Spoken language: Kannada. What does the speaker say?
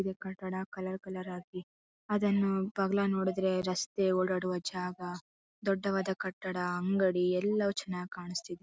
ಇದು ಕಟ್ಟಡ ಕಲರ್ಫುಲ್ ಆಗಿದೆ ಅದನ್ನು ಬಗ್ಲಾ ನೋಡಿದ್ರೆ ರಸ್ತೆ ಓಡಾಡುವ ಜಾಗ ದೊಡ್ಡವಾದ ಕಟ್ಟಡ ಅಂಗಡಿ ಎಲ್ಲವು ಚೆನ್ನಾಗಿ ಕಾಣಿಸ್ತಿದೆ.